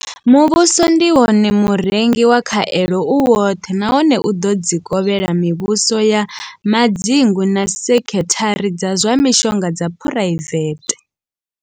Muvhuso ndi wone murengi wa khaelo u woṱhe nahone u ḓo dzi kovhela mivhuso ya madzingu na sekhithara dza zwa mishonga dza phuraivethe.